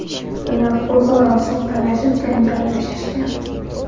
bilan o‘zaro suv talashib, janjallashishgan.